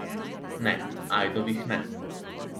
Ne, ajdovih ne.